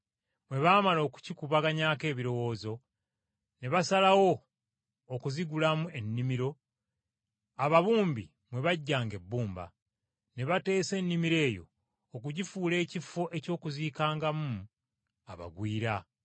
Bwe baamala okukikubaganyaako ebirowoozo, ne basalawo okuzigulamu ennimiro ababumbi mwe baggyanga ebbumba. Ne bateesa ennimiro eyo okugifuula ekifo eky’okuziikangamu abagwira.